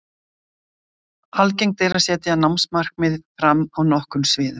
Algengt er að setja námsmarkmið fram á nokkrum sviðum.